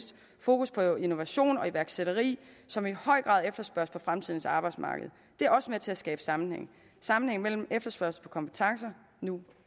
fokus på innovation og iværksætteri som i høj grad efterspørges på fremtidens arbejdsmarked det er også med til at skabe sammenhæng sammenhæng mellem efterspørgsel på kompetencer nu